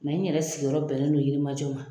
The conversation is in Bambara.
Nka n yɛrɛ sigiyɔrɔ bɛnben fon Yirimajɔ ma.